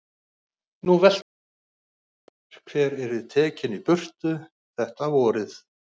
Nú velti hann því fyrir sér hver yrði tekinn í burtu þetta vorið.